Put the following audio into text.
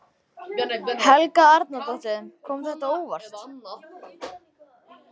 Helga Arnardóttir: Kom þetta á óvart?